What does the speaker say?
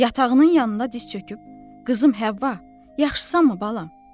Yatağının yanında diz çöküb, qızım Həvva, yaxşısanmı balam?